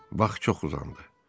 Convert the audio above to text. Bax, çox uzandı.